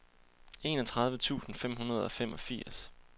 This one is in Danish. enogtredive tusind fem hundrede og femogfirs